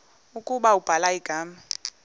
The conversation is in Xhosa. ukuba ubhala igama